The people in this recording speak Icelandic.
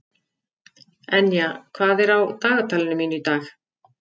Enja, hvað er á dagatalinu mínu í dag?